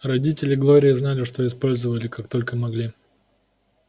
родители глории знали использовали как только могли